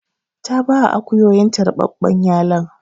Ta baya akuyoyinta ruɓaɓɓen yalon.